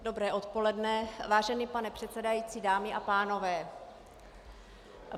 Dobré odpoledne, vážený pane předsedající, dámy a pánové.